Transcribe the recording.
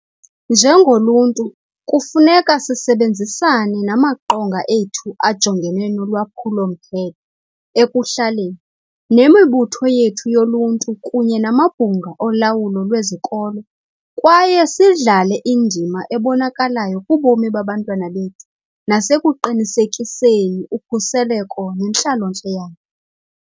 Njengoluntu, kufuneka sisebenzisane namaQonga ethu aJongene nolwaphulo-mthetho ekuHlaleni, nemibutho yethu yoluntu kunye namabhunga olawulo lwezikolo kwaye sidlale indima ebonakalayo kubomi babantwana bethu nasekuqinisekiseni ukhuseleko nentlalontle yabo.